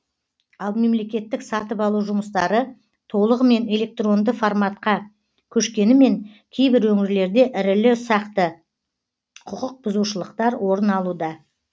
ал мемлекеттік сатып алу жұмыстары толығымен электронды форматқа көшкенімен кейбір өңірлерде ірілі ұсақты құқықбұзушылықтар орын алуда